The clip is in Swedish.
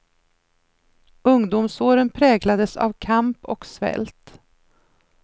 Ungdomsåren präglades av kamp och svält.